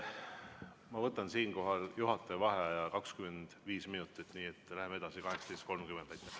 Ma võtan siinkohal juhataja vaheaja 25 minutit, nii et läheme edasi 18.30.